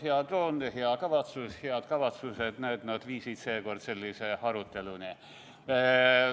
Hea toon, head kavatsused – näed, nad viisid seekord sellise aruteluni.